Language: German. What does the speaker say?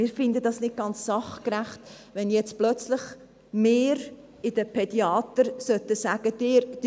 Wir finden es nicht ganz sachgerecht, wenn wir jetzt plötzlich den Pädiatern sagen müssten: